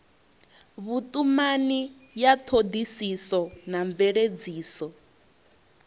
vhutumani ya thodisiso na mveledziso